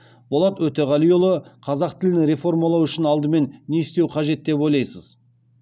болат өтеғалиұлы қазақ тілін реформалау үшін алдымен не істеу қажет деп ойлайсыз